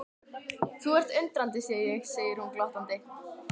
Þú ert undrandi sé ég, segir hún glottandi.